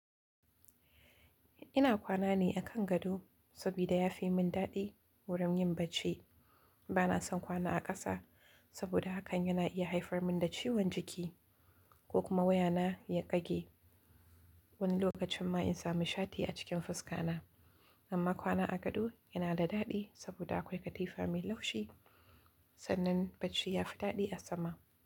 Ina kwana ne a kan gado saboda ya fi mun daɗi wurin yin bacci. Bana son kwana a ƙasa saboda hakan yana iya haifar mun da ciwon jiki ko kuma wayana ya ƙage wani lokacin ma in samu shati a cikin fuska na. Amma kwana a gado yana da daɗi saboda akwai katifa mai laushi sannan bacci ya fi daɗi a sama.